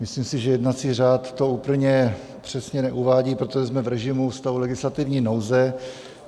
Myslím si, že jednací řád to úplně přesně neuvádí, protože jsme v režimu stavu legislativní nouze.